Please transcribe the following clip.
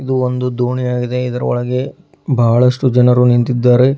ಇದು ಒಂದು ದೋಣಿಯಾಗಿದೆ ಇದರೊಳಗೆ ಬಹಳಷ್ಟು ಜನರು ನಿಂತಿದ್ದಾರೆ.